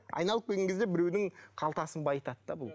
айналып келген кезде біреудің қалтасын байытады да бұл